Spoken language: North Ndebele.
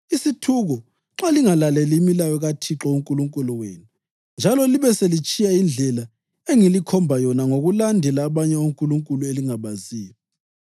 isithuko nxa lingalaleli imilayo kaThixo uNkulunkulu wenu njalo libe selitshiya indlela engilikhomba yona ngokulandela abanye onkulunkulu elingabaziyo.